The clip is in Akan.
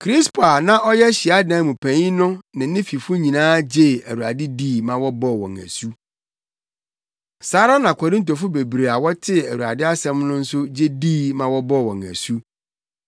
Krispo a na ɔyɛ hyiadan mu panyin no ne ne fifo nyinaa gyee Awurade dii ma wɔbɔɔ wɔn asu. Saa ara na Korintofo bebree a wɔtee Awurade asɛm no nso gye dii ma wɔbɔɔ wɔn asu.